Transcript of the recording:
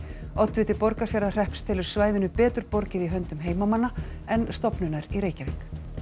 oddviti Borgarfjarðarhrepps telur svæðinu betur borgið í höndum heimamanna en stofnunar í Reykjavík